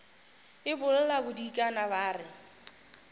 e bolla bodikana ba re